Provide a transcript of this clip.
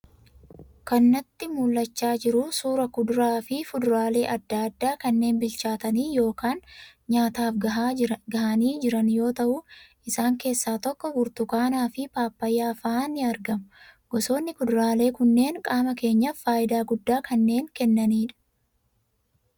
Kan natti mul'achaa jiru, suuraa kuduraa fi fuduraalee addaa addaa kanneen bilchaatanii yookaan nyaataaf gahanii jiran yoo ta'u, isaan keessaa tokko burtukaana, fi pappaayyaa fa'aa ni argamu. Gosoonni kuduraalee kunneen qaama keenyaaf fayidaa guddaa kanneen kennanidha.